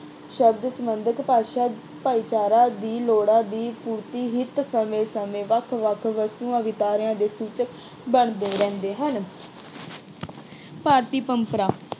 ਸ਼ਬਦ ਸੰਬੰਧਿਤ ਭਾਸ਼ਾ ਭਾਈਚਾਰੇ ਦੀ ਲੋੜਾਂ ਦੀ ਪੂਰਤੀ ਹਿੱਤ ਸਮੇਂ-ਸਮੇਂ ਵੱਖ-ਵੱਖ ਵਸਤੂਆਂ ਦੇ ਸੂਚਕ ਬਣਦੇ ਰਹਿੰਦੇ ਹਨ। ਭਾਰਤੀ ਪਰੰਪਰਾ